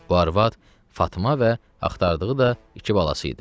Bu arvad Fatma və axtardığı da iki balası idi.